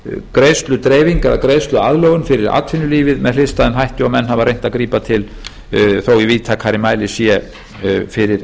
greiðsludreifing eða greiðsluaðlögun fyrir atvinnulífið með hliðstæðum hætti og menn hafa reynt að grípa til þó í víðtækari mæli sé fyrir